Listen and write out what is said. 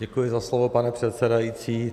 Děkuji za slovo, pane předsedající.